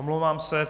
Omlouvám se.